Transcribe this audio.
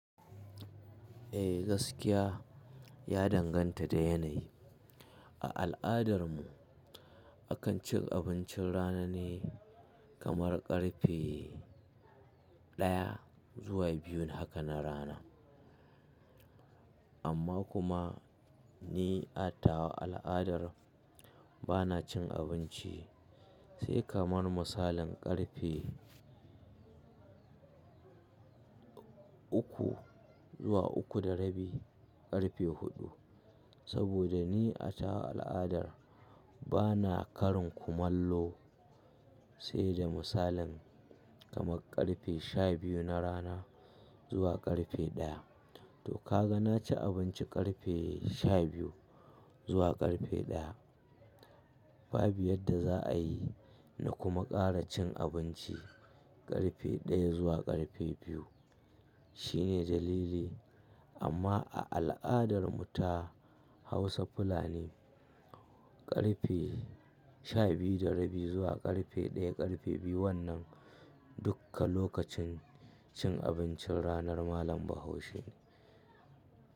Eh gaskiya ya danganta da yanayi. A al'adar mu akan ci abincin rana ne kamar ƙarfe daya zuwa biyu haka na rana. Amma kuma ni atawa al'adar bana cin abinci sai kamar misalin ƙarfe uku zuwa uku da rabi, ƙarfe huɗu. Saboda ni atawa al'adar bana karin kumallo sai da misalin kamar ƙarfe shabiyu na rana zuwa ƙarfe daya. To ka ga na ci abinci ƙarfe shabiyu zuwa ƙarfe daya. Babu yadda za a yi na kuma ƙara cin abinci ƙarfe daya zuwa ƙarfe biyu shine dalili. Amma a al'adar mu ta Hausa fulani, ƙarfe shabiyu da rabi zuwa ƙarfe daya, ƙarfe biyu wannan duka lokacin cin abincin ranar malam bahaushe ne.